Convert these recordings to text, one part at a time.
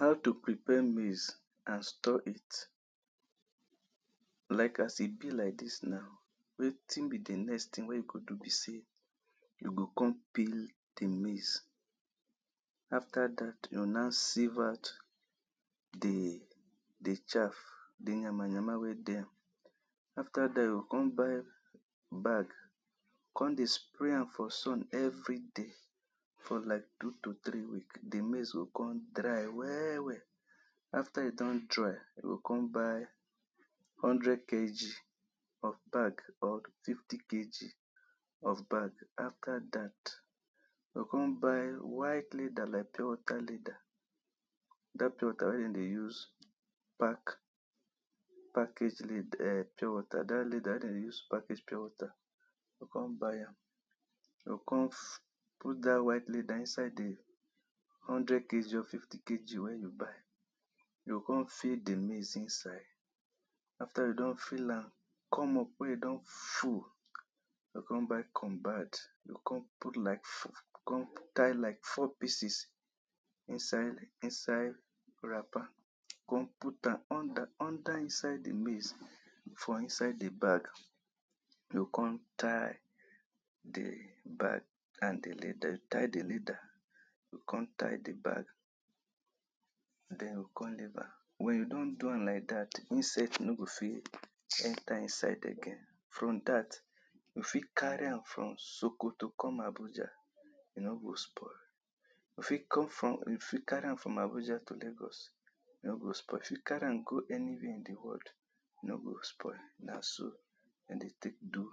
How to prepare maize and store it, like as e be like dis now, wetin be di next thing wey you go do be sey, you go come peel di maize, after dat you go now sieve out di di chaff, di nyama nyama wey dey am, after there you go come buy bag come dey spray am for sun every day for like two to three week, di maize go come dry well well, after e don dry, you go come buy hundred kg of bag or fifty kg of bag. After dat you go come buy white leather like pure water leather, dat pure water wey dem dey use park package lead [urn] pure water, dat leather wey dem dey package pure water, you go come buy am, you go come put dat white leather inside do hundred kg or fifty kg wey you buy, you go come fill di maize iinside. After you don fill am come up wey e don full, you go come buy combat come put like four, come tie like four pieces inside, inside wrapper, come put am under, under inside di maize, for inside di bag, you go come tie di bag and di leather, tie di leather, you go come tie di bag, den you go come leave am. Wen you don do am like dat, insect no go fit enter inside again, from dat you fit carry am for Sokoto come Abuja e nor go spoil, you fit come from, you fit carry am from Abuja to Lagos e nor go spoil, you fit carry am go anywhere in di world e no go spoil na so dem dey take do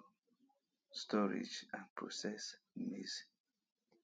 storage and process maize.